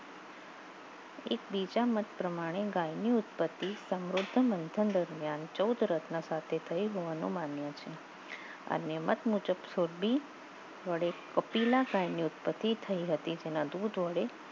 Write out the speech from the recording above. એકબીજા મત પ્રમાણે ગાયની ઉત્પત્તિ સમુદ્ર મંથન દરમિયાન ચૌદ રત્ન થઈ જવાનો માન્ય છે અને મત મુજબ કપિલા ઉત્પત્તિ થઈ હતી તેના દૂધ વડે